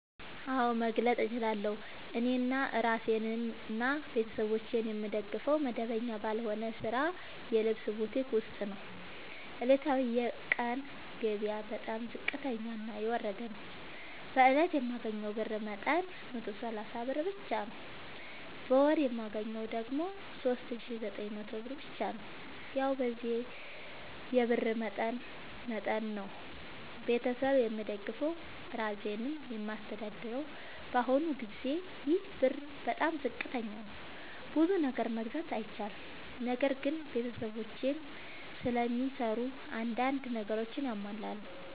አዎድ መግለጥ እችላለሁ። እኔ እራሴንና ቤተሠቦቼን የምደግፈዉ መደበኛ ባልሆነ ስራ የልብስ ቡቲክ ዉስጥ ነዉ። ዕለታዊ የቀን ገቢየ በጣም ዝቅተኛና የወረደ ነዉ። በእለት የማገኘዉ የብር መጠን 130 ብር ብቻ ነዉ። በወር የማገኘዉ ደግሞ 3900 ብር ብቻ ነዉ። ያዉ በዚህ የብር መጠን መጠን ነዉ። ቤተሠብ የምደግፈዉ እራሴንም የማስተዳድረዉ በአሁኑ ጊዜ ይሄ ብር በጣም ዝቅተኛ ነዉ። ብዙ ነገር መግዛት አይችልም። ነገር ግን ቤተሰቦቼም ስለሚሰሩ አንዳንድ ነገሮችን ያሟላሉ።